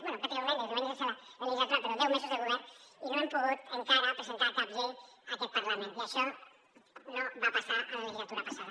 bé pràcticament un any des que va iniciar se la legislatura però deu mesos de govern i no hem pogut encara presentar cap llei en aquest parlament i això no va passar la legislatura passada